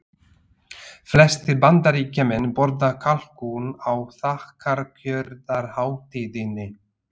Flestir Bandaríkjamenn borða kalkún á þakkargjörðarhátíðinni.